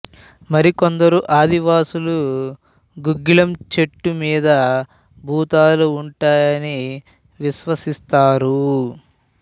మరి కొందరు ఆదివాసులు గుగ్గిలం చెట్టు మీద భూతాలు ఉంటాయని విశ్వసిస్తారు